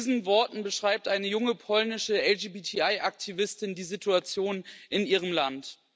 Mit diesen Worten beschreibt eine junge polnische LGBTI Aktivistin die Situation in ihrem Land.